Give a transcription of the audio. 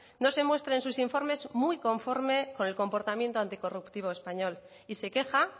no se muestre en sus informes muy conforme con el comportamiento anticorruptivo español y se queja